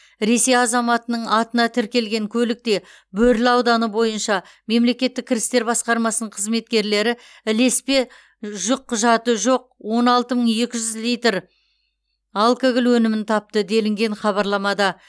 ресей азаматының атына тіркелген көлікте бөрлі ауданы бойынша мемлекеттік кірістер басқармасының қызметкерлері ілеспе жүкқұжаты жоқ он алты мың екі жүз литр алкоголь өнімін тапты делінген хабарламада